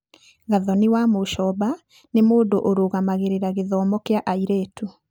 Gathoni Wamuchomba nĩ mũndũ ũrũgamagĩrĩra gĩthomo kĩa airĩtu.